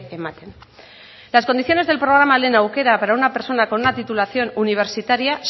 ematen las condiciones del programa lehen aukera para una persona con una titulación universitaria